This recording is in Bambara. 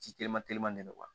Ji telima teliman ne n